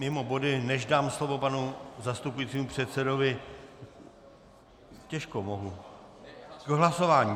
Mimo body, než dám slovo panu zastupujícímu předsedovi... těžko mohu - k hlasování?